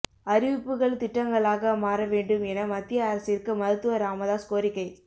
அறிவிப்புகள் திட்டங்களாக மாற வேண்டும் என மத்திய அரசிற்கு மருத்துவர் ராமதாஸ் கோரிக்கை